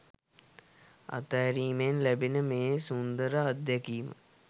අතහැරීමෙන් ලැබෙන මේ සුන්දර අත්දැකීම